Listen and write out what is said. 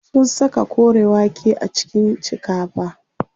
Sun saka kore wake a cikin shikafa.